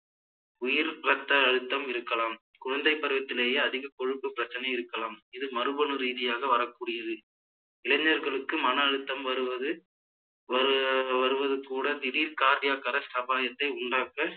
உயர் இரத்த அழுத்தம் இருக்கலாம், குழந்தை பருவத்திலேயே அதிக கொழுப்பு பிரச்சனை இருக்கலாம், இது மரபணு ரீதியாக வரக் கூடியது இளைஞ்ர்களுக்கு மன அழுத்தம் வருவது ஆஹ் வருவது கூட திடீர் cardiac arrest அபாயத்தை உண்டாக்க